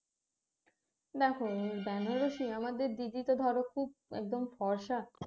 দেখ বেনারসি আমাদের দিদি তো ধরো খুব একদম ফর্সা